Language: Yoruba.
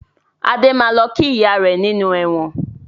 Adé máa lọ kí ìyá rẹ nínú ẹ̀wọ̀n